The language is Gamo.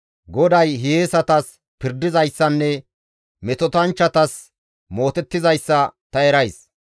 GODAY hiyeesatas pirdizayssanne metotanchchatas mootettizayssa ta erays.